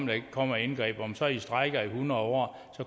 der ikke kommer et indgreb om så i strejker i hundrede år